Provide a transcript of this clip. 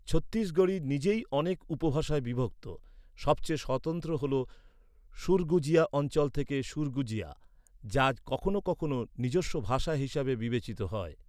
ছত্তিশগড়ী নিজেই অনেক উপভাষায় বিভক্ত, সবচেয়ে স্বতন্ত্র হল সুরগুজিয়া অঞ্চল থেকে সুরগুজিয়া, যা কখনও কখনও নিজস্ব ভাষা হিসাবে বিবেচিত হয়।